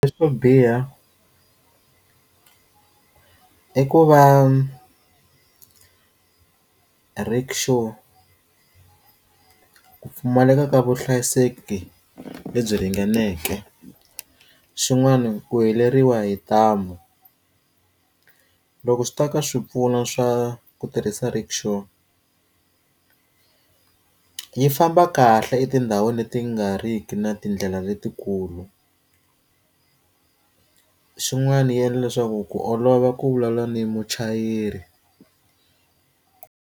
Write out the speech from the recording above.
Leswo biha i ku va rickshaw ku pfumaleka ka vuhlayiseki lebyi ringaneke, xin'wana ku heleriwa hi ntamu loko swi ta ka swipfuno swa ku tirhisa rickshaw yi famba kahle etindhawini leti nga ri ki na tindlela letikulu, xin'wana yi endla leswaku ku olova ku vulavula ni muchayeri.